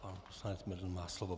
Pan poslanec Bendl má slovo.